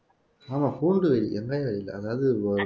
ஆமா